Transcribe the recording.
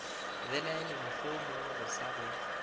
belaele mohlomongwe o sa go